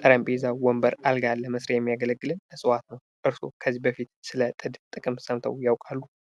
ጠረጴዛ ፣ ወንበር ፣ አልጋን ለመስሪያ የሚያገለግልን እፅዋት ነው ። እርስዎ ከዚህ በፊት ስለ ጥድ ጥቅም ሰምተው ያውቃሉ ?